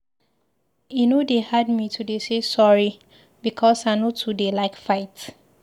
E no dey hard me to dey say sorry because I no dey too like fight.